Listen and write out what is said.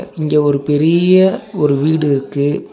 இங்க ஒரு பெரிய ஒரு வீடு இருக்கு.